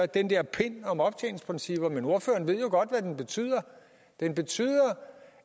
den der pind om optjeningsprincipper men ordføreren ved jo godt hvad den betyder den betyder